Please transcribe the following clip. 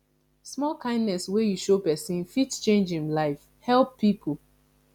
small kindness wey you show pesin fit change em life help pipo